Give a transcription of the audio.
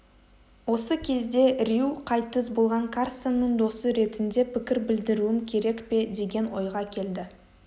осы кезде рью қайтыс болған карсонның досы ретінде пікір білдіруім керек пе деген ойға келді